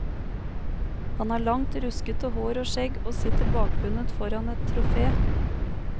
Han har langt, ruskete hår og skjegg, og sitter bakbundet foran et trofé.